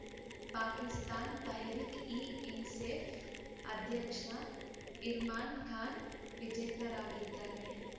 ಪಾಕಿಸ್ತಾನ್‌ ತೆಹ್ರೀಕ್‌ಇಇನ್ಸೆಫ್ ಅಧ್ಯಕ್ಷ ಇಮ್ರಾನ್‌ ಖಾನ್‌ ವಿಜೇತರಾಗಿದ್ದಾರೆ